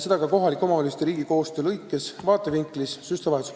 Seda ka kohalike omavalitsuste ja riigi koostöö vaatevinklist .